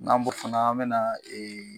N'an b'o fana ,an be na ee